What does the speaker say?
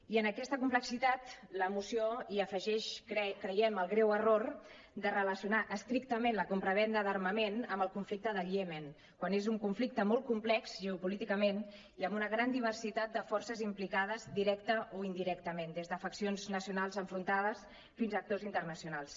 i en aquesta complexitat la moció hi afegeix creiem el greu error de relacionar estrictament la compravenda d’armament amb el conflicte del iemen quan és un conflicte molt complex geopolíticament i amb una gran diversitat de forces implicades directament o indirectament des de faccions nacionals enfrontades fins a actors internacionals